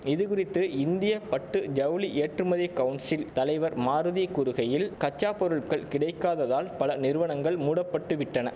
இது குறித்து இந்திய பட்டு ஜவுளி ஏற்றுமதி கவுன்சில் தலைவர் மாருதி கூறுகையில் கச்சா பொருட்கள் கிடைக்காததால் பல நிறுவனங்கள் மூடப்பட்டு விட்டன